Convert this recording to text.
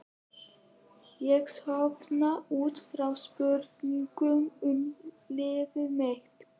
Ég sofna út frá spurningum um líf mitt.